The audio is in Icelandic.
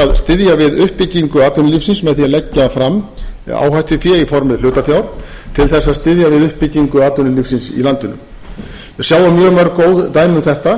að styðja við uppbyggingu atvinnulífsins með því að leggja fram áhættufé í formi hlutafjár til þess að styðja við uppbyggingu atvinnulífsins í landinu við sjáum mjög mörg góð dæmi um þetta